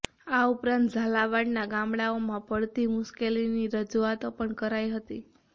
આ ઉપરાંત ઝાલાવાડના ગામડાઓમાં પડતી મુશ્કેલીની રજૂઆતો પણ કરાઈ હતી